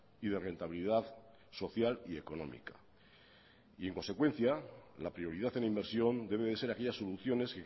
y de rentabilidad social y económica y en consecuencia la prioridad en inversión debe de ser aquellas soluciones